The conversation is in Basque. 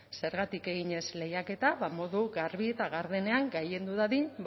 zergatik egin ez lehiaketa modu garbi eta gardenean gailendu dadin